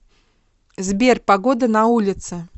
сбер погода на улице